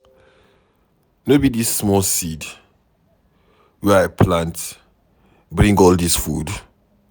Na dis small seed wey I plant bring all dis food.